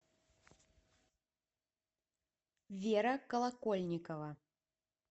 вера колокольникова